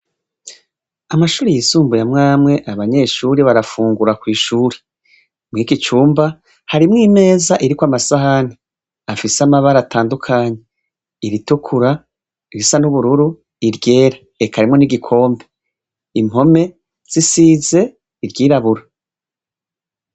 Amashure Yisumbuye amwamwe abanyeshure barafungura kw'ishure. Mwikicumba harimwo Imeza iriko amasahani afise amabara atandukanye, iritukura, irisa n'ubururu, iryera, eka harimwo nigikombe. Impome zisize iryirabura.